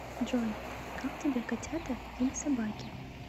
джой как тебе котята или собаки